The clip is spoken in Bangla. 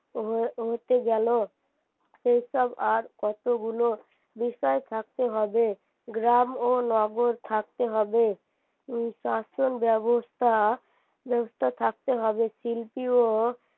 হতে গেলো এইসব আর কতগুলো বিষয় থাকতে হবে গ্রাম ও নগর থাকতে থাকতে হবে উম শাসন ব্যবস্থা ব্যবস্থা থাকতে হবে শিল্পীও